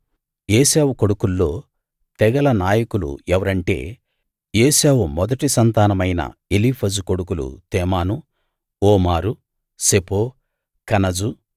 ఏశావు కొడుకుల్లో తెగల నాయకులు ఎవరంటే ఏశావు మొదటి సంతానమైన ఎలీఫజు కొడుకులు తేమాను ఓమారు సెపో కనజు